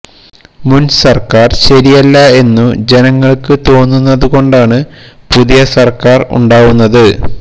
മുന് സര്ക്കാര് ശരിയല്ല എന്നു ജനങ്ങള്ക്ക് തോന്നുന്നതുകൊണ്ടാണു പുതിയ സര്ക്കാര് ഉണ്ടാവുന്നത്